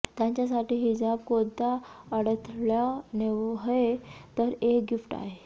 त्यांच्यासाठी हिजाब कोणता अडथळा नव्हे तर एक गिफ्ट आहे